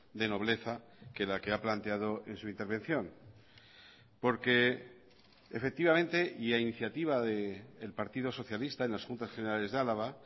de nobleza que la que ha planteado en su intervención porque efectivamente y a iniciativa del partido socialista en las juntas generales de álava